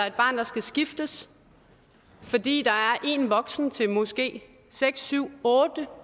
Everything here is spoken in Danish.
et barn der skal skiftes fordi der er en enkelt voksen til måske seks otte